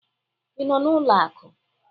Ị nọ n'ụlọ akụ?